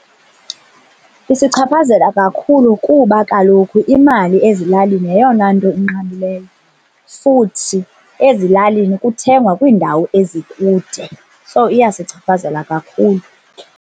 Isichaphazela kakhulu kuba kaloku imali ezilalini yeyona nto enqabileyo futhi ezilalini kuthengwa kwiindawo ezikude. So, iyasichaphazela kakhulu.